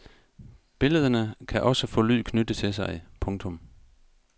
Billederne kan også få lyd knyttet til sig. punktum